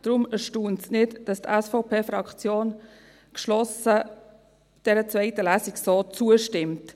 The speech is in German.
Deshalb erstaunt es nicht, dass die SVP-Fraktion dieser zweiten Lesung so geschlossen zustimmt.